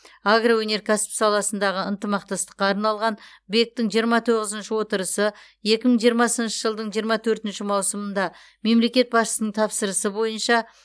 агроөнеркәсіп саласындағы ынтымақтастыққа арналған бек тің жиырма тоғызыншы отырысы екі мың жиырмасыншы жылдың жиырма төртінші маусымында мемлекет басшысының тапсырмасы бойынша